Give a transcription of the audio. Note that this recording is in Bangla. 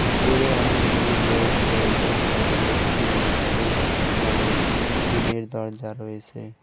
ভিতরে অনেকগুলি লোক রয়েসে সাইডে একটি সবুজ রঙের তি টিনের দরজা রয়েসে।